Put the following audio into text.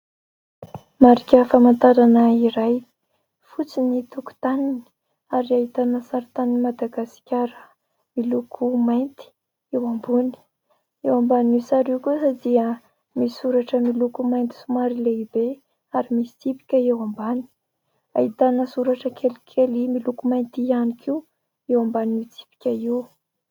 Marika famantarana iray fotsy ny tokontaniny ary ahitana sarintanin'i Madagasikara miloko mainty eo ambony. Eo ambanin'io sary io kosa dia misy soratra miloko mainty somary lehibe ary misy tsipika eo ambany. Ahitana soratra kelikely miloko mainty ihany koa eo ambanin'io tsipika io.